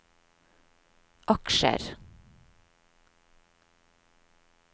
aksjer